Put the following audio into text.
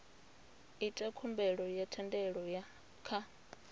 ita khumbelo ya thendelo kha